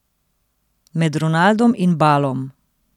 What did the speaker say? Med Ronaldom in Balom.